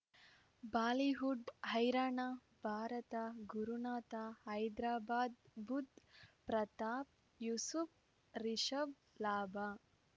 Bollywood ಹೈರಾಣ ಭಾರತ ಗುರುನಾಥ ಹೈದರಾಬಾದ್ ಬುಧ್ ಪ್ರತಾಪ್ ಯೂಸುಫ್ ರಿಷಬ್ ಲಾಭ